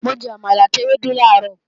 Mo jẹ àmàlà àti ewédú làárọ̀